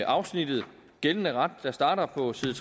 afsnittet gældende ret der starter på side